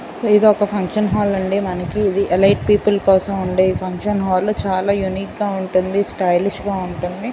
ఇదొక function hall అండి మనకి ఇది ఎలైట్ పీపుల్ కోసం ఉండే ఫంక్షన్ హాల్ చాలా యూనిక్యూ గా ఉంటుంది స్టైల్ గా ఉంటుంది.